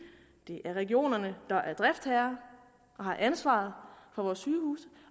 det er regionerne der er driftsherrer og har ansvaret for vores sygehuse